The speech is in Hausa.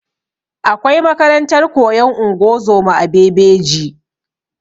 Akwai makarantar koyan ungozoma a bebeji